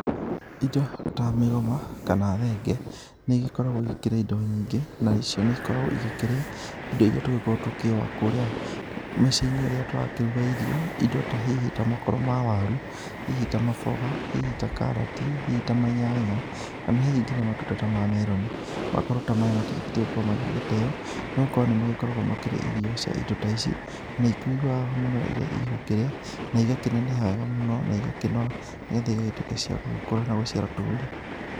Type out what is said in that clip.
Indo ta mĩgoma kana thenge, nĩ igĩkoragwo igĩkĩrĩa indo nyingĩ nacio nĩ igĩkoragwo igĩkĩrĩa indo iria tũgĩkoragwo tũgĩkĩũa kũrĩa mĩĩciĩ-inĩ rĩrĩa tũragĩkorwo tũkĩruga irio. Indo ta hihi, ta makoro ma waru, hihi ta maboga, hihi ta karati, hihi ta manyanya kana hihi matunda ta ma meroni .Makoro ta maya matigĩbatiĩ gũkorwo magĩgĩteo no korwo nĩ magĩkoragwo makĩrĩithio cia indo ta ici na nĩ ikĩiguaga wega mũno rĩrĩa igũkĩrĩa na igakĩneneha wega mũno na igakĩnora nĩgetha igatuĩka cia gũgĩkũra na gũciara tũri.